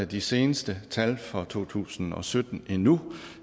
de seneste tal fra to tusind og sytten endnu